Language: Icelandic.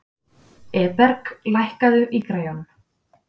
Eberg, lækkaðu í græjunum.